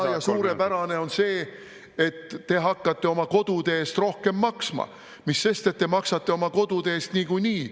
… kui hea ja suurepärane on see, et te hakkate oma kodude eest rohkem maksma, mis sest, et te maksate oma kodude eest niikuinii.